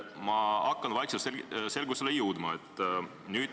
Ma hakkan nüüd vaikselt selgusele jõudma.